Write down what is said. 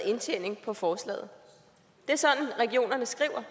indtjening på forslaget det er sådan regionerne skriver